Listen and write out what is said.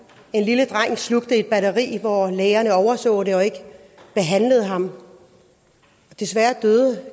en lille dreng slugte et batteri og hvor lægerne overså det og ikke behandlede ham desværre døde